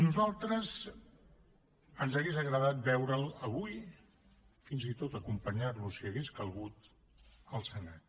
a nosaltres ens hauria agradat veure’l avui fins i tot acompanyar lo si hagués calgut al senat